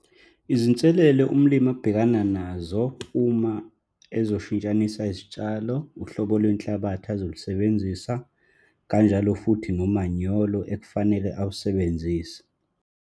Izinselelo umlimi abhekana nazo uma ezoshintshanisa izitshalo, uhlobo lwenhlabathi azolisebenzisa, kanjalo futhi nomanyolo ekufanele awusebenzise.